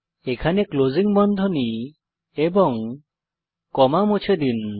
এখানে ক্লোজিং বন্ধনী এবং কমা মুছে দিন